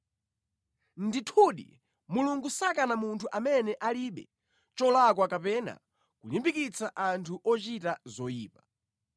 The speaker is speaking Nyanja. “Ndithudi, Mulungu sakana munthu amene alibe cholakwa kapena kulimbikitsa anthu ochita zoyipa.